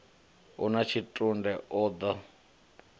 u na tshitunde o ḓo